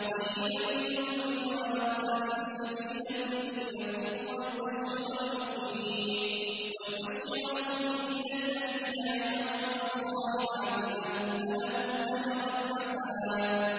قَيِّمًا لِّيُنذِرَ بَأْسًا شَدِيدًا مِّن لَّدُنْهُ وَيُبَشِّرَ الْمُؤْمِنِينَ الَّذِينَ يَعْمَلُونَ الصَّالِحَاتِ أَنَّ لَهُمْ أَجْرًا حَسَنًا